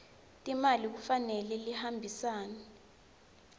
timali kufanele lihambisane